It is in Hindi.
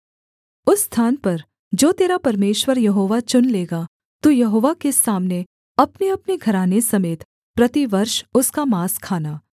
उस स्थान पर जो तेरा परमेश्वर यहोवा चुन लेगा तू यहोवा के सामने अपनेअपने घराने समेत प्रतिवर्ष उसका माँस खाना